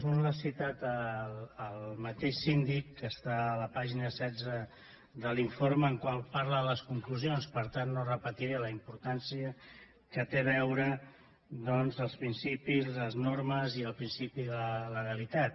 un l’ha citat el mateix síndic i està a la pàgina setze de l’informe que parla de les conclusions i per tant no repetiré la importància que té els principis les normes i el principi de la legalitat